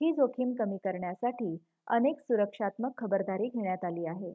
ही जोखीम कमी करण्यासाठी अनेक सुरक्षात्मक खबरदारी घेण्यात आली आहे